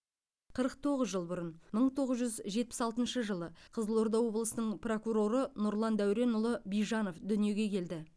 қырық тоғыз жыл бұрын мың тоғыз жүз жетпіс алтыншы жылы қызылорда облысының прокуроры нұрлан дәуренұлы бижанов дүниеге келді